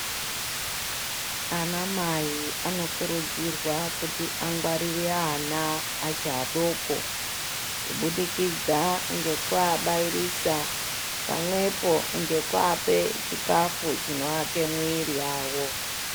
Anamai anokurudzirwa kuti angwarire ana achi adoko kubudikidza ngekuabairisa pamwepo ngekuape chikafu chinoake mwiri yavo.